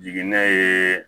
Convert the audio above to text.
Jigini ye